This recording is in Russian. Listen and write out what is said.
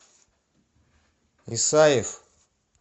исаев